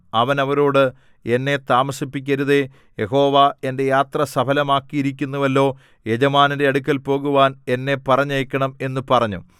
അവൻ അവരോട് എന്നെ താമസിപ്പിക്കരുതേ യഹോവ എന്റെ യാത്ര സഫലമാക്കിയിരിക്കുന്നുവല്ലോ യജമാനന്റെ അടുക്കൽ പോകുവാൻ എന്നെ പറഞ്ഞയക്കണം എന്നു പറഞ്ഞു